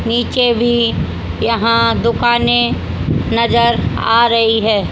नीचे भी यहां दुकानें नजर आ रही है।